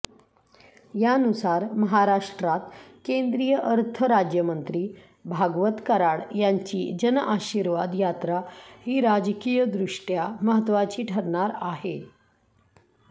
यानुसार महाराष्ट्रात केंद्रीय अर्थ राज्यमंत्री भागवत कराड यांची जनआशीर्वाद यात्रा ही राजकीयदृष्ट्या महत्त्वाची ठरणार आहे